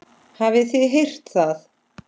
Hafið þið heyrt það?